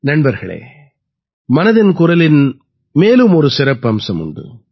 நண்பர்களே மனதின் குரலின் மேலும் ஒரு சிறப்பம்சம் உண்டு